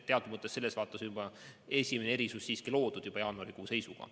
Teatud mõttes selles vaates on esimene erisus siiski loodud juba jaanuarikuu seisuga.